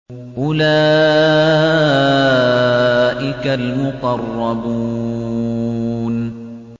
أُولَٰئِكَ الْمُقَرَّبُونَ